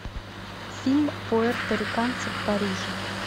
фильм пуэрториканцы в париже